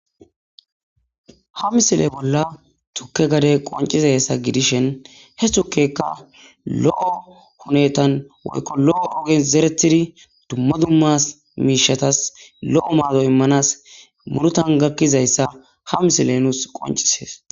ha misile bolla tukke gade qonciza hessa gidishen he tukekka lo7o hunetan woykko lo7o ogen zeretidi dumma dummas miishatas lo7o maado immanas murutan gakkizayssa ha misile nuus qoncisees